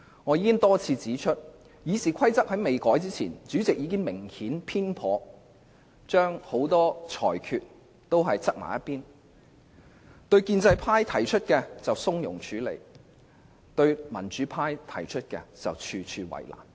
我已多次指出，即使在建制派建議修訂《議事規則》前，主席很多裁決已明顯有所偏頗，對建制派提出的要求從容處理，對民主派提出的要求則處處為難。